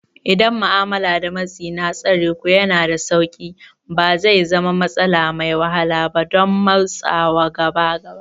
Idan ma'amala da matsi na tsareku yana da sauƙi, ba zai zama matsala mai wahala ba don motsawa gaba ba.